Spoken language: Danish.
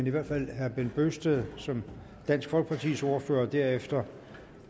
i hvert fald herre bent bøgsted som dansk folkepartis ordfører først og derefter